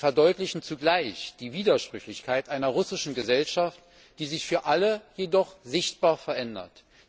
Sie verdeutlichen zugleich die Widersprüchlichkeit einer russischen Gesellschaft, die sich jedoch für alle sichtbar verändert.